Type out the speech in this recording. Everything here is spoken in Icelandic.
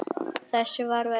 Þessu varð að ljúka.